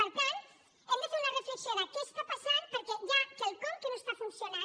per tant hem de fer una reflexió de què està passant perquè hi ha quelcom que no està funcionant